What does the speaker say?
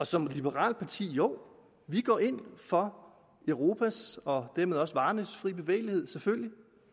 som liberalt parti jo vi går ind for europa og dermed også for varernes fri bevægelighed selvfølgelig